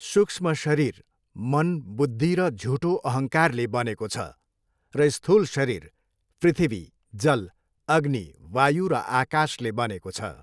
सुक्ष्म शरीर मन बुद्धि र झुठो अहङ्कारले भनेको छ र स्थूल शरीर पृथ्वी जल अग्नि वायु र आकाशले बनेको छ।